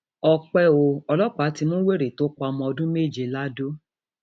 ọpẹ ò ọlọpàá ti mú wèrè tó pa ọmọ ọdún méje lado